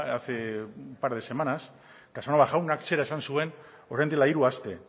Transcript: hace un par de semanas casanova jaunak zera esan zuen orain dela hiru aste